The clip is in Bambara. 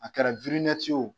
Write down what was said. A kɛra ye o